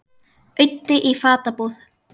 Auddi í fatabúð